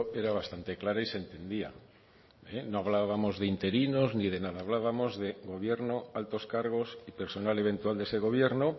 era bastante clara y se entendía no hablábamos de interinos ni de nada hablábamos de gobierno altos cargos y personal eventual de ese gobierno